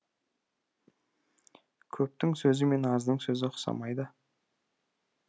көптің сөзі мен аздың сөзі ұқсамайды